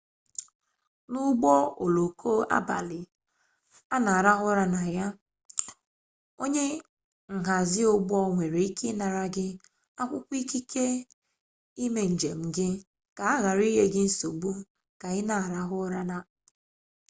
n'ụgbọoloko abalị a na-arahụ ụra na ya onye nhazi ụgbọ nwere ike ịnara gị akwụkwọ ikike ime njem gị ka a ghara inye gị nsogbu ka ị na-arahụ ụra